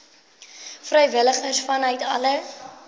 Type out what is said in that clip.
vrywilligers vanuit alle